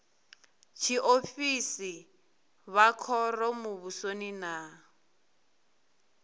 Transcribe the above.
tshiofisi vha khoro muvhusoni na